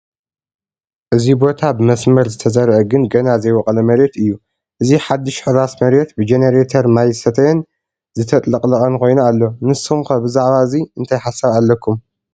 እዚ ቦታ ብመስመር ዝተዘርአ ግን ገና ዘይቦቖለ መሬት እዩ፡፡ እዚ ሓዱሽ ሕራስ መሬት ብጄኔሬተር ማየ ዝሰተየን ዝተጥለቕለቐን ኮይኑ ኣሎ፡፡ ንስኹም ከ ብዛዕባ እዚ እንታይ ሓሳብ ኣለኩም?